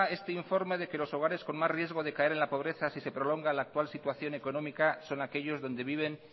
este informe de que los hogares con más riesgos de caer en la pobreza si se prolonga la actual situación económica son aquellos donde viven